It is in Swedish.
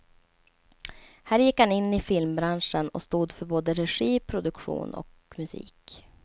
Här gick han in i filmbranschen och stod för både regi, produktion och musik.